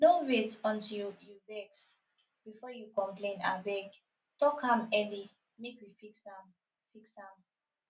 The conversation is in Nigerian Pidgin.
no wait until you vex before you complain abeg talk am early make we fix am fix am